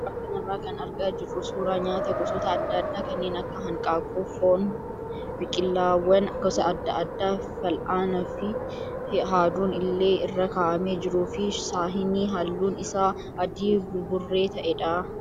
Suuraa kanarraa kan argaa jirru suuraa nyaata gosoota adda addaa kanneen akka hanqaaquu, foon, biqilaawwan gosa adda addaa fal'aanaa fi haaduun illee irra kaa'amee jiruu fi saahinii halluun isaa adii buburree ta'edha.